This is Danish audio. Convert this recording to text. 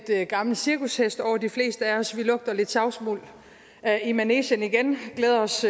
gammel cirkushest over de fleste af os vi lugter lidt savsmuld i manegen igen glæder os